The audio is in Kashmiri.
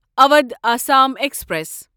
اودھ آسام ایکسپریس